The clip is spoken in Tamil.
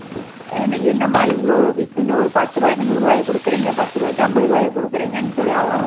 என்ன என்னமா இவ்ளோ இத்துணூ பத்து ரூபாய்க்கு நூறு ரூவாய கொடுக்குறீங்க பத்து ரூவாய்க்கு அம்பது ரூவாய கொடுக்குறீங்கன்னு சொல்லி அவங்களும்